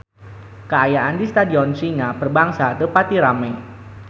Kaayaan di Stadion Singa Perbangsa teu pati rame